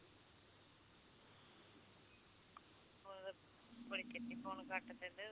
ਬੜੀ ਛੇਤੀ phone ਕਰ ਦਿੰਦੇ